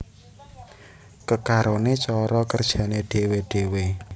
Kekarone cara kerjane dhewe dhewe